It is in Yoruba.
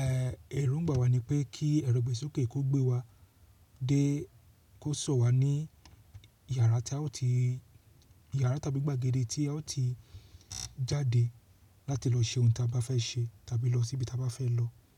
ẹ́, ẹ̀rù ń gba wa ní pé kí ẹ̀rọ ìgbésókè kó gbé wa dé kó sọ̀ wá ní yàrá tí a ó ti, yàrá tàbí gbàgede tí a ó ti jáde láti lọ ṣe ohun tí a bá fẹ́ ṣe tàbí lọ síbi tí a bá fẹ́ lọ.